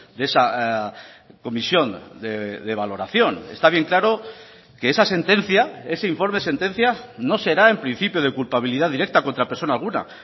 de esa comisión de valoración está bien claro que esa sentencia ese informe sentencia no será en principio de culpabilidad directa contra persona alguna